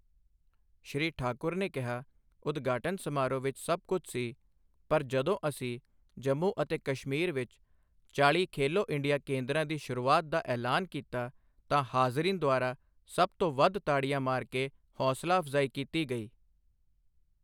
ਸ਼੍ਰੀ ਠਾਕੁਰ ਨੇ ਕਿਹਾ, ਉਦਘਾਟਨ ਸਮਾਰੋਹ ਵਿੱਚ ਸਭ ਕੁਝ ਸੀ, ਪਰ ਜਦੋਂ ਅਸੀਂ ਜੰਮੂ ਅਤੇ ਕਸ਼ਮੀਰ ਵਿੱਚ ਚਾਲ੍ਹੀ ਖੇਲੋ ਇੰਡੀਆ ਕੇਂਦਰਾਂ ਦੀ ਸ਼ੁਰੂਆਤ ਦਾ ਐਲਾਨ ਕੀਤਾ, ਤਾਂ ਹਾਜ਼ਰੀਨ ਦੁਆਰਾ ਸਭ ਤੋਂ ਵੱਧ ਤਾੜੀਆਂ ਮਾਰ ਕੇ ਹੌਸਲਾ ਅਫ਼ਜਾਈ ਕੀਤੀ ਗਈ।